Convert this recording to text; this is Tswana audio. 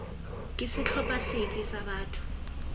ke setlhopha sefe sa batho